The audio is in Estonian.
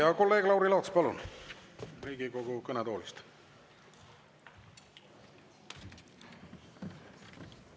Ja kolleeg Lauri Laats, palun, Riigikogu kõnetoolist!